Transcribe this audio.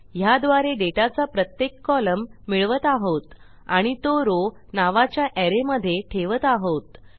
ह्याद्वारे डेटाचा प्रत्येक कोलम्न मिळवत आहोत आणि तो रॉव नावाच्या अरे मधे ठेवत आहोत